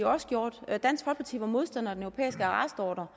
også gjort dansk folkeparti var modstander af den europæiske arrestordre